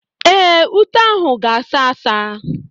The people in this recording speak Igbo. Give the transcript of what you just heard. Ee, ute ahụ ga-asa asa.